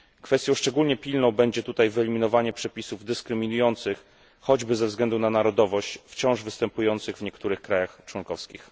Kwestią szczególnie pilną będzie tutaj wyeliminowanie przepisów dyskryminujących, choćby ze względu na narodowość, wciąż występujących w niektórych państwach członkowskich.